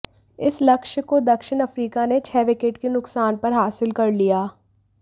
इस लक्ष्य को दक्षिण अफ्रीका ने छह विकेट के नुकसान पर हासिल कर लिया